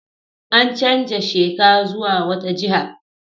An canza sheka zuwa wata jiha.